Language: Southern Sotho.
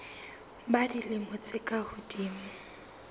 ba dilemo tse ka hodimo